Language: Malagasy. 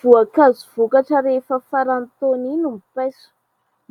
Voankazo vokatra rehefa faran'ny taona iny ny paiso.